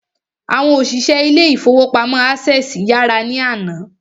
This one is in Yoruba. Àwọn òṣìṣẹ́ ilé ìfọwọ́pamo Access yàrá ní àná.